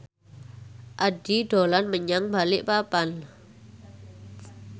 Addie dolan menyang Balikpapan